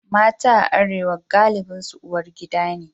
Mata a Arewa galibinsu uwar gida ne.